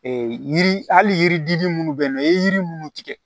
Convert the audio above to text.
yiri hali yiri dili minnu bɛ yen nɔ i ye yiri minnu tigɛ